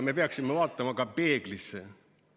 Me peaksime vaatama ka peeglisse.